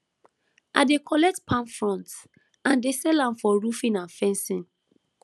i dey collect palm fronds and dey sell am for roofing and fencing